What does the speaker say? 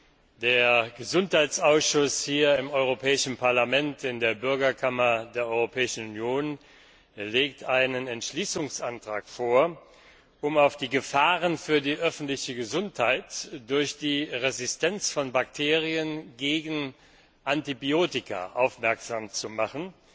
Der Ausschuss für Umweltfragen, Volksgesundheit und Lebensmittelsicherheit hier im Europäischen Parlament, in der Bürgerkammer der Europäischen Union, legt einen Entschließungsantrag vor, um auf die Gefahren für die öffentliche Gesundheit durch die Resistenz von Bakterien gegen Antibiotika aufmerksam zu machen